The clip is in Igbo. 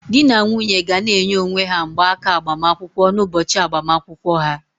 Di na nwunye ga na-enye onwe ha mgbaaka agbamakwụkwọ n'ụbọchị agbamakwụkwọ ha